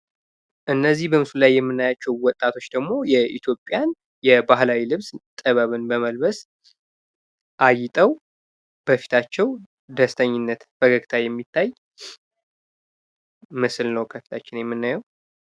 እነዚህ በምስሉ ላይ የምናያቸው ወጣቶች ደግሞ የኢትዮጵያን ባህላዊ ልብስ ጥበብን በመልበስ አጊጠው በፊታቸው ደስተኝነት ፈገግታ የሚታይ ምስል ነው ከፊታችን የምናየው።